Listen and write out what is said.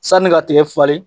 Sanni ka tigɛ falen